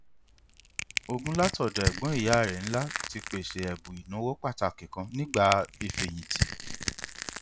ogún láti ọdọ ẹgbọn ìyá rẹ ńlá ti pèsè ẹbùn ìnáwó pàtàkì kan nígbà ìfíyìntì